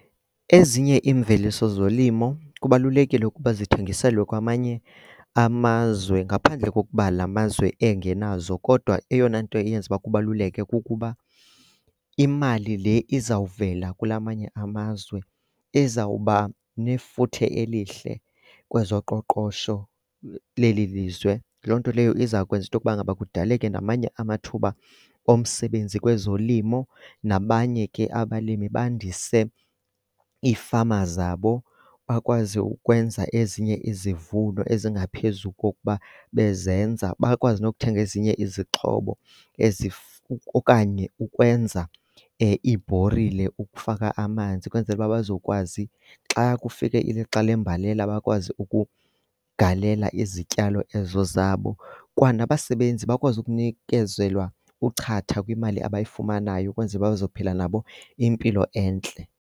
Ezinye iimveliso zolimo kubalulekile ukuba ndithengiselwe kwamanye amazwe ngaphandle kokuba la mazwe engenazo. Kodwa eyona nto eyenza uba kubaluleke kukuba imali le izawuvela kula manye amazwe izawuba nefuthe elihle kwezoqoqosho leli lizwe. Loo nto leyo izawukwenza into yokuba ngaba kudaleke namanye amathuba omsebenzi kwezolimo, nabanye ke abalimi bandise iifama zabo bakwazi ukwenza ezinye izivuno ezingaphezu kokuba bezenza. Bakwazi nokuthenga ezinye izixhobo okanye ukwenza iibhorile ukufaka amanzi ukwenzela uba bazokwazi xa kufike ilixa lembalela bakwazi ukugalela izityalo ezo zabo. Kwanabasebenzi bakwazi ukunikezelwa uchatha kwimali abayifumanayo ukwenzele uba bazophila nabo impilo entle.